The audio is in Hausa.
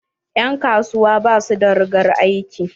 En kasuwa ba su da rigar aiki.